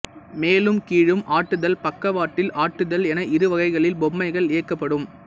மேலும் கீழும் ஆட்டுதல் பக்கவாட்டில் ஆட்டுதல் என இருவகைகளில் பொம்மைகள் இயக்கப்படும்